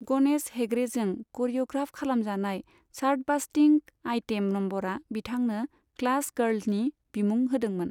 गणेश हेगड़ेजों करिय'ग्राफ खालामजानाय chartbusting item नम्बरआ बिथांनो 'ख्लास गार्ल'नि बिमुं होदोंमोन।